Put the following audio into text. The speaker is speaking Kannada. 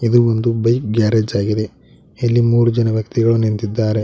ಇದು ಒಂದು ಬೈಕ್ ಗ್ಯಾರೇಜ್ ಆಗಿದೆ ಇಲ್ಲಿ ಮೂರು ಜನ ವ್ಯಕ್ತಿಗಳು ನಿಂತಿದ್ದಾರೆ.